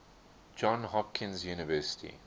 johns hopkins university